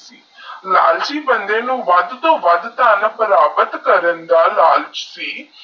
ਲਾਲਚੀ ਬੰਦੇ ਨੂੰ ਵਾਦ ਤੋਹ ਵਾਦ ਧਨ ਪ੍ਰਾਪਤ ਕਰਨ ਦਾਹ ਲਾਲਚੀ